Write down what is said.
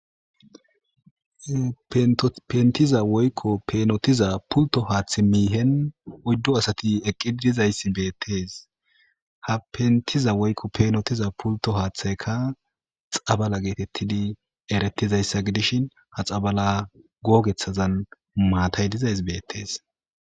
pentiza woykko peenotiza pulto haaththi miihen oyddo asati eqqidizayssi beettees ha pentiza woykko peenotiza pulto haaththaykka xabala geetettidi erettizayssa gidishin ha xabala googethazan maatay dizays beettees